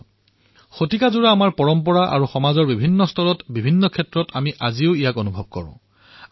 ই আমাৰ শতিকা পুৰণি পৰম্পৰা আৰু সমাজৰ প্ৰতিটো কোণত সকলো ক্ষেত্ৰত ইয়াৰ সুগন্ধ আজিও আমি অনুভৱ কৰিব পাৰিছোঁ